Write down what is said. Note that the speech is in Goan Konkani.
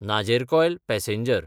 नाजेरकॉयल पॅसेंजर